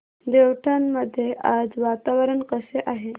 देवठाण मध्ये आज वातावरण कसे आहे